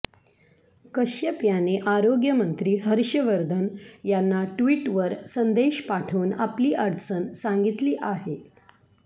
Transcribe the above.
कश्यप याने आरोग्यमंत्री हर्षवर्धन यांना ट्विटवर संदेश पाठवून आपली अडचण सांगितली आहे